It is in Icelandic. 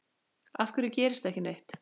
Af hverju gerist ekki neitt?